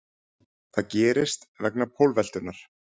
Það gerist vegna pólveltunnar.